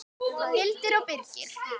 Hildur og Birgir.